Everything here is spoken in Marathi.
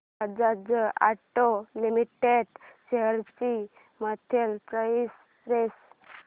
बजाज ऑटो लिमिटेड शेअर्स ची मंथली प्राइस रेंज